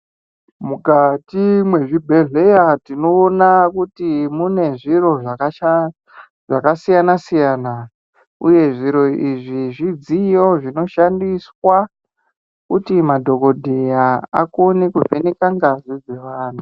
Mukati mwezvi bhedhleya tinoona kuti mune zviro zvaka siyana siyana uye zvito izvi zvidziyo zvinoshandiswa kuti madhokodheya akone kuvheneka ngazi dze vanhu.